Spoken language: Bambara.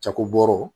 Jakobɔro